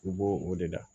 I b'o o de la